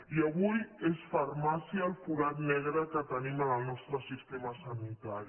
i avui és farmàcia el forat negre que tenim en el nostre sistema sanitari